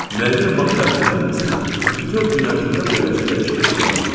Müəyyən vaxt ərzində, məsələn, bütöv gün ərzində beləcə dəyişmədən davam eləyir.